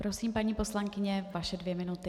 Prosím, paní poslankyně, vaše dvě minuty.